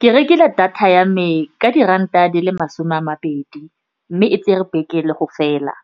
Ke rekile data ya me ka diranta di le masome a mabedi, mme e tse re beke le go fela.